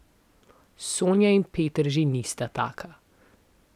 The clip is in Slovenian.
Sonja in Peter že nista taka.